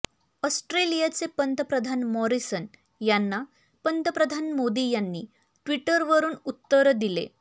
ऑस्ट्रेलियाचे पंतप्रधान मॉरिसन यांना पंतप्रधान मोदी यांनी ट्विटवरून उत्तर दिले